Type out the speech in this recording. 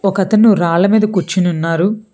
ఒకతను రాళ్ళ మీద కూర్చుని ఉన్నారు.